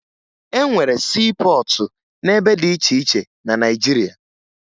E nwere siipọọtụ n'ebe dị iche iche na Naịjirịa